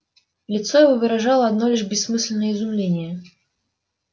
лицо его выражало одно лишь бессмысленное изумление